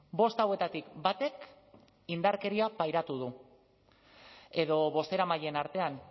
bost hauetatik batek indarkeria pairatu du edo bozeramaileen artean